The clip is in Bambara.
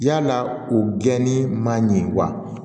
Yalaa u gɛni ma ɲi wa